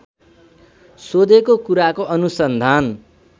सोधेको कुराको अनुसन्धान